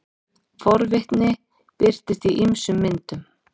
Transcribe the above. forvitni birtist í ýmsum myndum